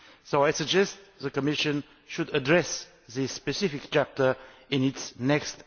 So I suggest the Commission should address this specific chapter in its next